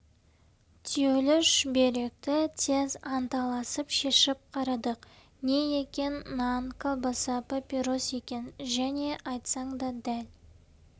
түюлі шүберекті тез анталасып шешіп қарадық не екен нан колбаса папирос екен және айтсаң да дәл